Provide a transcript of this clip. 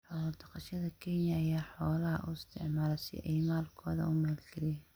Xoolo-dhaqatada Kenya ayaa xoolaha u isticmaala si ay maalkooda u maalgeliyaan.